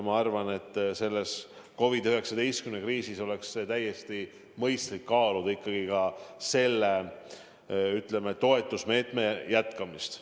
Ma arvan, et selles COVID-19 kriisis oleks täiesti mõistlik kaaluda ka selle toetusmeetme jätkamist.